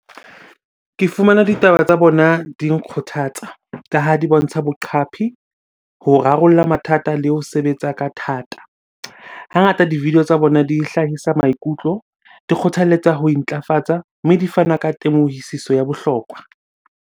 Ke fumana ditaba tsa bona di nkgothatsa ka ha di bontsha boqapi, ho rarolla mathata le ho sebetsa ka thata. Hangata di-video tsa bona, di hlahisa maikutlo, di kgothaletsa ho intlafatsa, mme di fana ka temohisiso ya bohlokwa.